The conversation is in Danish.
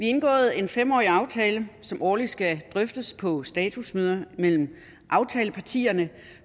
indgået en fem årig aftale som årligt skal drøftes på statusmøder mellem aftalepartierne